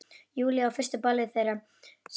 Júlíu á fyrsta ballið þeirra saman.